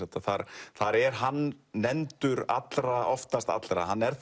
þar er hann nefndur allra oftast allra hann er